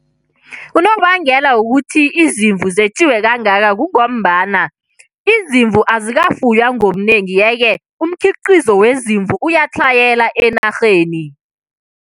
Unobangela wokuthi izimvu zetjiwe kangaka kungombana izimvu azikafuywa ngobunengi. Yeke, umkhiqizo wezimvu uyatlhayela enarheni.